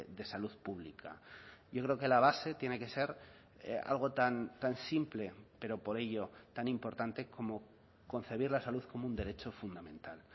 de salud pública yo creo que la base tiene que ser algo tan simple pero por ello tan importante como concebir la salud como un derecho fundamental